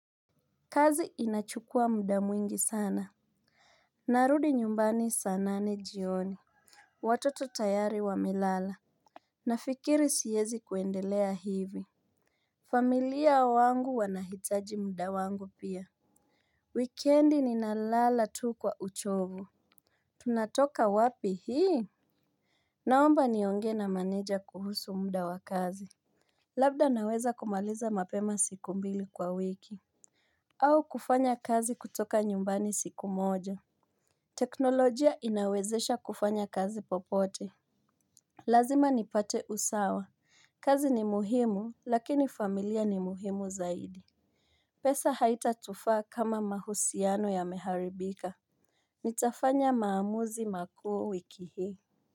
Kazi inachukua muda mwingi sana. Narudi nyumbani sanane jioni. Watoto tayari wa melala. Nafikiri siyezi kuendelea hivi. Familia wangu wanahitaji muda wangu pia. Weekendi ninalala tu kwa uchovu. Tunatoka wapi hii. Naomba nionge na maneja kuhusu muda wakazi. Labda naweza kumaliza mapema siku mbili kwa wiki. Au kufanya kazi kutoka nyumbani siku moja. Teknolojia inawezesha kufanya kazi popote. Lazima nipate usawa. Kazi ni muhimu lakini familia ni muhimu zaidi. Pesa haita tufa kama mahusiano ya meharibika. Nitafanya maamuzi makuu wiki hii.